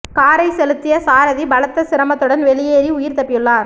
காரை செலுத்திய சாரதி பலத்த சிரமத்துடன் வெளியேறி உயிர் தப்பியுள்ளார்